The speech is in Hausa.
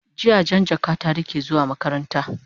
jiya Jan jaka ta rike zuwa makaranta